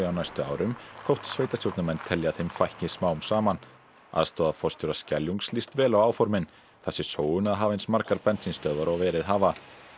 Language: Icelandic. næstu árum þótt sveitarstjórnarmenn telji að þeim fækki smám saman aðstoðarforstjóra Skeljungs líst vel á áformin það sé sóun að hafa eins margar bensínstöðvar og verið hafa